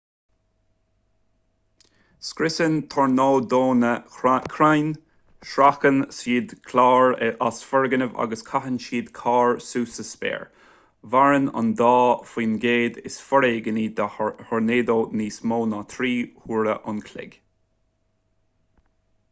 scriosann tornádónna crainn sracann siad cláir as foirgnimh agus caitheann siad cairr suas sa spéir maireann an dá faoin gcéad is foréigní de thornádónna níos mó ná trí huaire an chloig